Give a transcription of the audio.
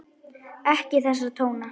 Ekki þessa tóna!